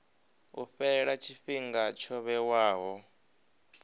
u fhela tshifhinga tsho vhewaho